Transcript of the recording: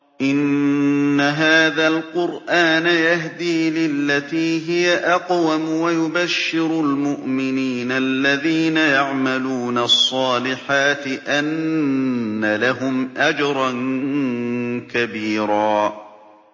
إِنَّ هَٰذَا الْقُرْآنَ يَهْدِي لِلَّتِي هِيَ أَقْوَمُ وَيُبَشِّرُ الْمُؤْمِنِينَ الَّذِينَ يَعْمَلُونَ الصَّالِحَاتِ أَنَّ لَهُمْ أَجْرًا كَبِيرًا